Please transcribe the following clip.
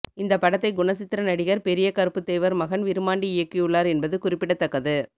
இந்தப் படத்தை குணசித்திர நடிகர் பெரிய கருப்புத்தேவர் மகன் விருமாண்டி இயக்கியுள்ளார் என்பது குறிப்பிடத்தக்கது